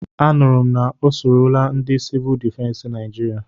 Anụrụ m na o sorola ndị Sivụl difensi Naijiria.